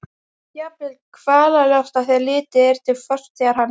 Jafnvel kvalalosta þegar litið er til fortíðar hans.